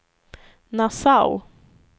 Nassau